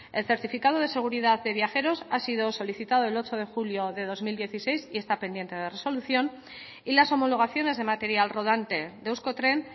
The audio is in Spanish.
el certificado de seguridad de viajeros ha sido solicitado el ocho de julio de dos mil dieciséis y está pendiente de resolución y las homologaciones de material rodante de euskotren